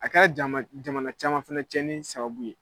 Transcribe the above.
A ka jama jamana caman fɛnɛ tiɲɛni sababu ye.